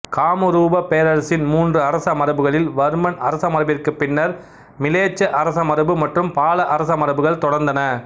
காமரூப பேரரசின் மூன்று அரசமரபுகளில் வர்மன் அரசமரபிற்குப் பின்னர் மிலேச்ச அரசமரபு மற்றும் பால அரசமரபுகள் தொடர்ந்தன